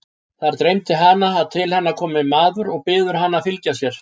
Þar dreymir hana að til hennar komi maður og biður hana að fylgja sér.